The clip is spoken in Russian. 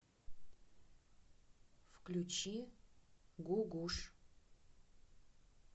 включи гугуш